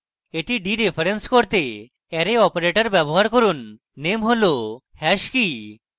এটি ডিরেফারেন্স করতে arrow operator ব্যবহার করুন name hash hash key